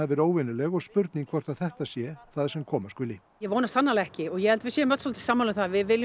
verið óvenjuleg og spurning hvort þetta sé það sem koma skuli ég vona svo sannarlega ekki og ég held að við séum öll svolítið sammála um það að við viljum